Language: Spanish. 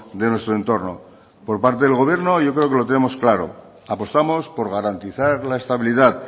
de nuestro entorno por parte del gobierno yo creo que lo tenemos claro apostamos por garantizar la estabilidad